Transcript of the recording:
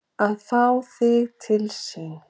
Að fá þig til sín.